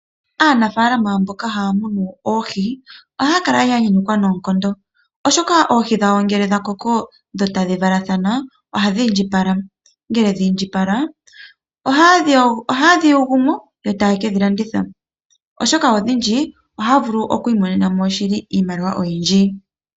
Aanafaalama mboka haya munu oohi ohaya kala ya nyanyukwa nookondo oshoka oohi dhawo ngele dha koko dho tadhi valathana ohadhi indjipala ngele dha indjipala ohaye dhi yi gumo yo taye kedhi landitha oshoka odhindji otaya vulu oku imonena mo iimaliwa oyindji.